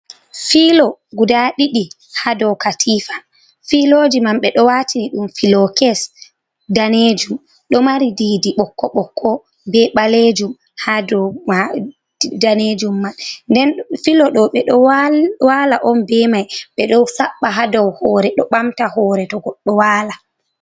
Filo guda ɗiɗi haa dow katiifa .Filooji man ɓe ɗo watini ɗum filokes daneejum ,ɗo mari ɗiɗi ɓokko ɓokko be ɓaleejum haa dow daneejum man. Nden filoɗo ɓe ɗo waala on be may ,ɓe ɗo saɓɓa haa dow hoore, ɗo ɓamta hoore to goɗɗo waala.